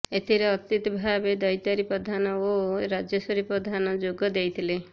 ଏଥିରେ ଅତିଥି ଭାବେ ଦୈତାରି ପଧାନ ଓ ରାଜେଶ୍ବରୀ ପଧାନ ଯୋଗ ଦେଇଥିଲେ